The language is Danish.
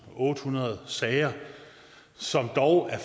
ottehundrede sager som dog er